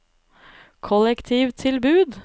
kollektivtilbud